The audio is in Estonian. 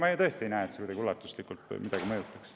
Ma tõesti ei näe, et see kuidagi ulatuslikult midagi mõjutaks.